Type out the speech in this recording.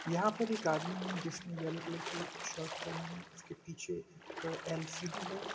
यहाँ पर एक आदमी है जिसने येलो कलर की शर्ट पहनी है उसके पीछे एक एल.सी.डी. है।